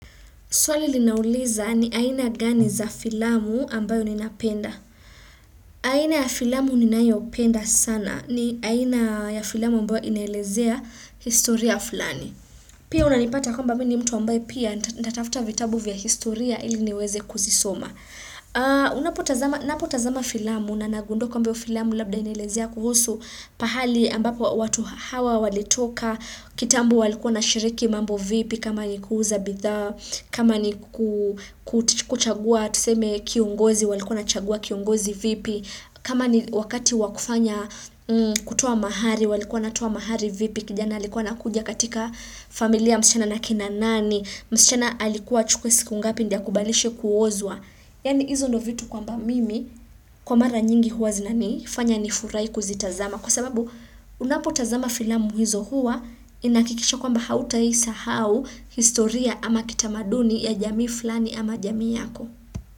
Swali linauliza ni aina gani za filamu ambayo ninapenda. Aina ya filamu ninayopenda sana ni aina ya filamu ambayo inelezea historia fulani. Pia unanipata kwamba mini mtu ambaye pia naita tafta vitabu vya historia ili niweze kuzisoma. Unapotazama filamu na nagundua kwamba hiyo filamu labda inelezea kuhusu pahali ambapo watu hawa walitoka. Kitambo walikuwa na shiriki mambo vipi kama ni kuuuza bidhaa kama ni kuchagua Tuseme kiongozi walikuwa na chagua kiongozi vipi kama ni wakati wakufanya kutua mahari walikuwa na toa mahari vipi kijana alikuwa ana kuja katika familia ya msichana na akina nani msichana alikuwa achukwe siku ngapi Ndioakubalishwe kuozwa Yaani hizo no vitu kwa mba mimi Kwa mara nyingi huwa zinani fanya nifurai kuzitazama Kwa sababu unapotazama filamu hizo huwa inahakikisha kwamba hauta isa hau historia ama kitamaduni ya jamii fulani ama jamii yako.